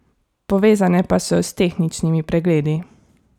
Povezane pa so s tehničnimi pregledi.